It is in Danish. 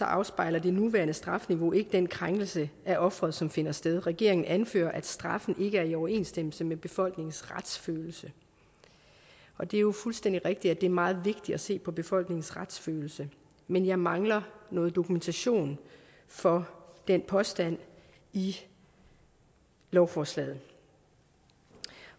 afspejler det nuværende strafniveau ikke den krænkelse af offeret som finder sted regeringen anfører at straffen ikke er i overensstemmelse med befolkningens retsfølelse og det er jo fuldstændig rigtigt at det er meget vigtigt at se på befolkningens retsfølelse men jeg mangler noget dokumentation for den påstand i lovforslaget